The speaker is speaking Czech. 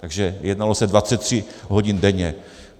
Takže jednalo se 23 hodin denně.